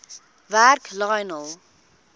werk lionel